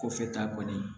Kɔfɛ ta kɔni